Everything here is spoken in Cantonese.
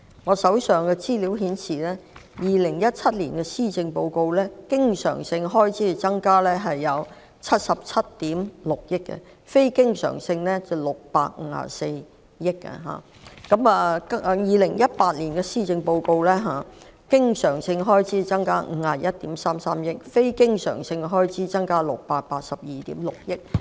我手上的資料顯示，在2017年的施政報告中，經常性開支增加77億 6,000 萬元，非經常性開支則增加654億元；在2018年的施政報告中，經常性開支增加51億 3,300 萬元，非經常性開支則增加682億 6,000 萬元。